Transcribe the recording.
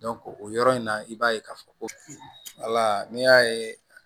o yɔrɔ in na i b'a ye k'a fɔ ko ala n'i y'a ye